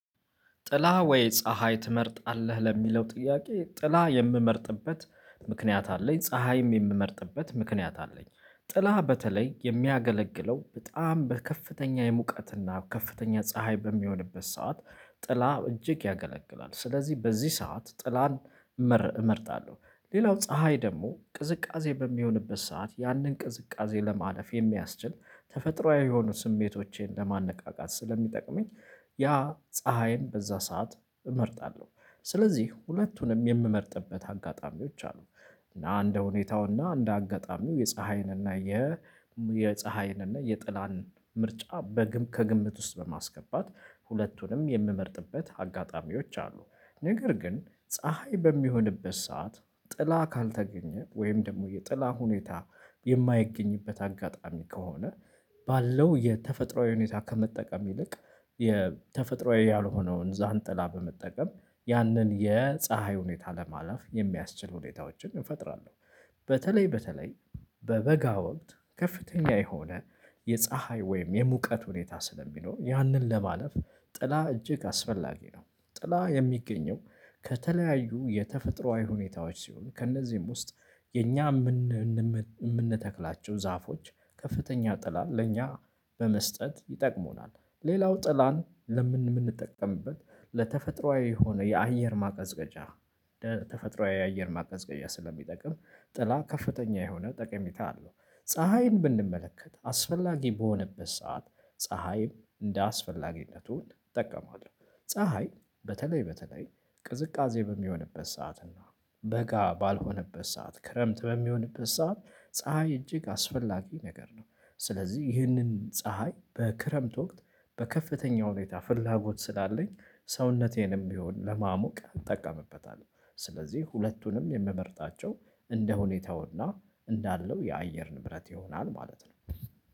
ጥላ ወይ ፀሀይ ትመርጣለህ ለሚለው ጥያቄ? ጥላ የምመርጥበት ምክንያት አለኝ ፀሀይም የምመርጥበት ምክንያት አለኝ። ጥላ በተለይ የሚያገለግለው በጣም በከፍተኛ የሙቀትና ከፍተኛ ፀሀይ በሚሆንበት ሰዓት ጥላ እጅግ ያገለግላል ስለዚህ በዚህ ሰዓት ጥላን እመርጣለሁ። ሌላው ፀሀይ ደግሞ ቅዝቃዜ በሚሆንበት ሰዓት ያንን ቅዝቃዜ ለማለፍ የሚያስችል ተፈጥሮአዊ የሆኑ ስሜቶቼን ለማነቃቃት ስለሚጠቅመኝ ያ ፀሀይን በዛ ሰዓት እመርጣለሁ። ስለዚህ ሁለቱንም የምመርጥበት አጋጣሚዎች አሉ። እና እንደ ሁኔታው እና እንደ አጋጣሚው የፀሀይንና የ የፀሀይንና የጥላን ምርጫ በግም ከግምት ውስጥ በማስገባት ሁለቱንም የምመርጥበት አጋጣሚዎች አሉ። ነገር ግን ፀሀይ በሚሆንበት ሰዓት ጥላ ካልተገኘ ወይም ደግሞ የጥላ ሁኔታ የማይገኝበት አጋጣሚ ከሆነ ባለው የተፈጥሮአዊ ሁኔታ ከመጠቀም ይልቅ የተፈጥሮአዊ ያልሆነውን ዣን ጥላ በመጠቀም ያንን የፀሀይ ሁኔታ ለማለፍ የሚያስችል ሁኔታዎችን እፈጥራለሁ። በተለይ በተለይ በበጋ ወቅት ከፍተኛ የሆነ የፀሀይ ወይም የሙቀት ሁኔታ ስለሚኖር ያንን ለማለፍ ጥላ እጅግ አስፈላጊ ነው። ጥላ የሚገኘው ከተለያዩ የተፈጥሮአዊ ሁኔታዎች ሲሆን ከእነዚህም ውስጥ የኛ የምንተክላቸው ዛፎች ከፍተኛ ጥላን ለእኛ በመስጠት ይጠቅሙናል። ሌላው ጥላን ለምን የምንጠቀምበት ለተፈጥሮአዊ የሆነ የአየር ማቀዝቀዣ ተፈጥሮአዊ የአየር ማቀዝቀዣ ስለሚጠቅም ጥላ ከፍተኛ የሆነ ጠቀሜታ አለው። ፀሀይን ብንመለከት አስፈላጊ በሆነበት ሰዓት ፀሀይም እንደ አስፈላጊነቱን እጠቀመዋለሁ። ፀሀይ በተለይ በተለይ ቅዝቃዜ በሚሆንበት ሰዓት እና በጋ ባልሆነበት ሰዓት ክረምት በሚሆንበት ሰዓት ፀሀይ እጅግ አስፈላጊ ነገር ነው። ስለዚህ ይህንን ፀሀይ በክረምት ወቅት በከፍተኛ ሁኔታ ፍላጎት ስላለኝ ሰውነቴንም ቢሆን ለማሞቅ እጠቀምበታለሁ። ስለዚህ ሁለቱንም የምመርጣቸው እንደ ሁኔታውና እንዳለው የአየርን ብረት ይሆናል ማለት ነው።